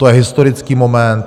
To je historický moment.